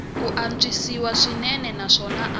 ku antswisiwa swinene naswona a